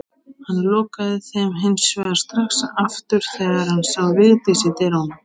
Hann lokaði þeim hins vegar strax aftur þegar hann sá Vigdísi í dyrunum.